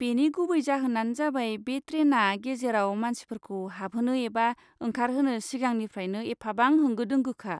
बेनि गुबै जाहोनानो जाबाय बे ट्रेनआ गेजेराव मानसिफोरखौ हाबहोनो एबा ओंखारहोनो सिगांनिफ्रायनो एफाबां होंगो दोंगोखा।